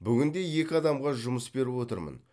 бүгінде екі адамға жұмыс беріп отырмын